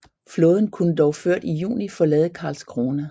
Flåden kunne dog ført i juni forlade Karlskrona